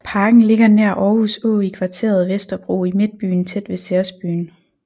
Parken ligger nær Aarhus Å i kvarteret Vesterbro i Midtbyen tæt ved CeresByen